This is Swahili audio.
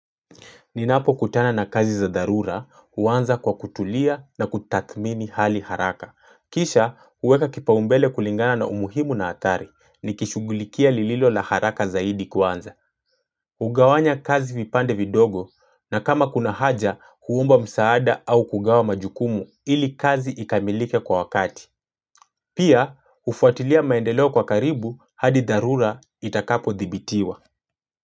Ninapo kutana na kazi za dharura, huanza kwa kutulia na kutathmini hali haraka. Kisha, huweka kipaumbele kulingana na umuhimu na hatari, nikishughulikia lililo la haraka zaidi kwanza. Hugawanya kazi vipande vidogo, na kama kuna haja, huomba msaada au kugawa majukumu ili kazi ikamilike kwa wakati. Pia, hufuatilia maendeleo kwa karibu hadi dharura itakapodhibitiwa.